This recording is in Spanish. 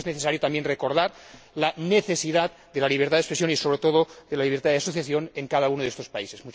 Creo que es necesario también recordar la necesidad de la libertad de expresión y, sobre todo, de la libertad de asociación en cada uno de estos países.